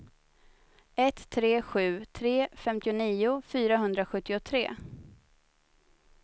ett tre sju tre femtionio fyrahundrasjuttiotre